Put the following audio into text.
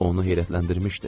Onu heyrətləndirmişdi.